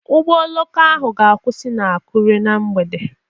Ụgbọ oloko ahụ ga-akwụsị na Akure na mgbede